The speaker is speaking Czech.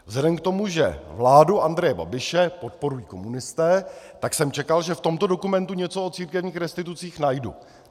Vzhledem k tomu, že vládu Andreje Babiše podporují komunisté, tak jsem čekal, že v tomto dokumentu něco o církevních restitucích najdu.